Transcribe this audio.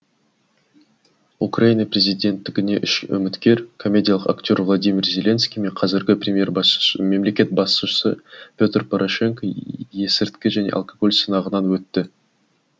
украина президенттігіне үш үміткер комедиялық актер владимир зеленский мен қазіргі мемлекет басшысы петр порошенко есірткі және алкоголь сынағынан өтті